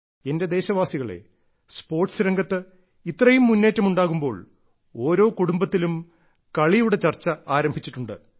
എന്റെ ദേശവാസികളേ സ്പോർട്സ് രംഗത്ത് ഇത്രയും മുന്നേറ്റം ഉണ്ടാകുമ്പോൾ ഓരോ കുടുംബത്തിലും കളിയുടെ ചർച്ച ആരംഭിച്ചിട്ടുണ്ട്